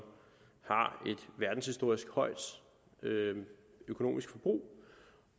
verdenshistorisk højt økonomisk forbrug